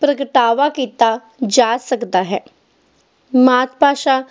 ਪ੍ਰਗਟਾਵਾ ਕੀਤਾ ਜਾ ਸਕਦਾ ਹੈ ਮਾਤ-ਭਾਸ਼ਾ